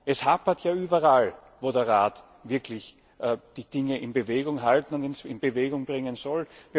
Es hapert ja überall, wo der Rat wirklich die Dinge in Bewegung halten und in Bewegung bringen soll.